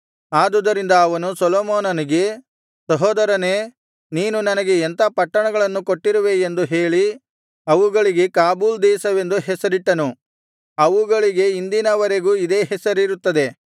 ಆದುದರಿಂದ ಅವನು ಸೊಲೊಮೋನನಿಗೆ ಸಹೋದರನೇ ನೀನು ನನಗೆ ಎಂಥಾ ಪಟ್ಟಣಗಳನ್ನು ಕೊಟ್ಟಿರುವೇ ಎಂದು ಹೇಳಿ ಅವುಗಳಿಗೆ ಕಾಬೂಲ್ ದೇಶವೆಂದು ಹೆಸರಿಟ್ಟನು ಅವುಗಳಿಗೆ ಇಂದಿನವರೆಗೂ ಇದೇ ಹೆಸರಿರುತ್ತದೆ